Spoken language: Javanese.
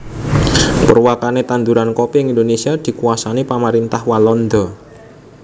Purwakane tanduran kopi ing Indonésia dikuasani pamarintah Walanda